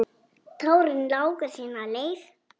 Tárin láku sína leið.